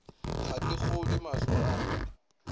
ga ke kgolwe mahlo a